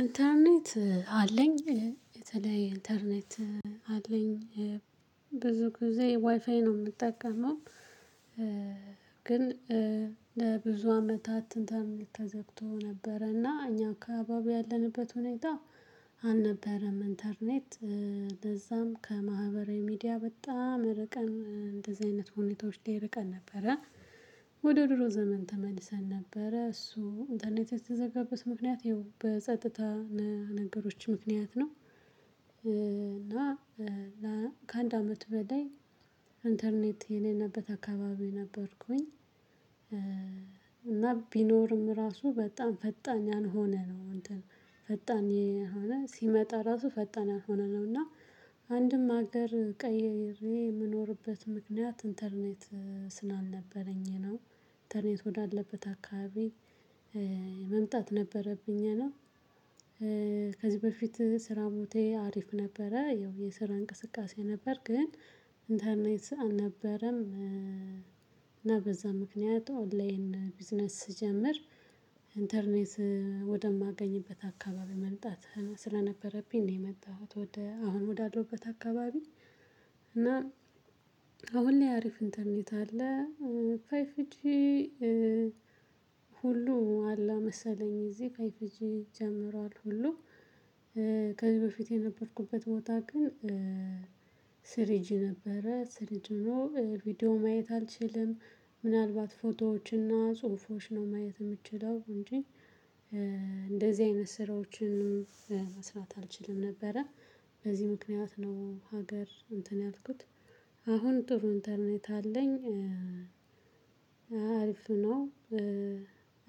ኢንተርኔት አለኝ የተለየ ኢንተርኔት አለኝ ብዙ ጊዜ ዋይፋይ ነው የምጠቀመው። ግን ለብዙ አመታት እንትን ተዘግቶ ነበረና እኛ አካባቢ ያለንበት ሁኔታ አልነበረም። ኢንተርኔት ለዛም ከማህበራዊ ሚዲያ በጣም ርቀን እንደዚህ አይነት ሁኔታዎች ላይ ርቀን ነበረ። ወደ ድሮ ዘመን ተመልሰን ነበረ እሱ ኢንተርኔት የተዘጋበት ምክንያት ይኸው በጸጥታ ነገሮች ምክንያት ነው። እና ከአንድ አመት በላይ ኢንተርኔት የሌለበት አካባቢ ነበርኩኝ። እና ቢኖርም ራሱ በጣም ፈጣን ያልሆነ ነው እንትን ፈጣን የሆነ ሲመጣ ራሱ ፈጣን ያልሆነ ነው። እና አንድም ሀገር ቀይሬ የምኖርበት ምክንያት ኢንተርኔት ስላልነበረኝ ነው። ኢንተርኔት ወዳለበት አካባቢ መምጣት ነበረብኝ ነው። በፊት ስራ ቦታዬ አሪፍ ነበረ ያው የስራ እንቅስቃሴ ነበር ግን ኢንተርኔት አልነበረም። እና በዛ ምክንያት ኦንላይን ቢዝነስ ስጀምር ኢንተርኔት ወደማገኝበት አካባቢ መምጣት ስለነበረብኝ ነው የመጣሁት። ወደ አሁን ወዳለውበት አካባቢ እና አሁን ላይ አሪፍ ኢንተርኔት አለ። ፍይቭጂ ሁሉ አለ መሰለኝ እዚህ ፍይቭጂ ጀምሯል ሁሉ። ከዚህ በፊት የነበርኩበት ቦታ ግን ስሪጂ ነበረ ስር ስሪጂ ሆኖ ቪዲዮ ማየት አልችልም። ምናልባት ፎቶዎችና ጽሁፎች ነው ማየት የምትችለው እንጂ እንደዚህ አይነት ስራዎችንም መስራት አልችልም ነበረ። በዚህ ምክንያት ነው ሀገር እንትን ያልኩት። አሁን ጥሩ ኢንተርኔት አለኝ። አሪፍ ነው።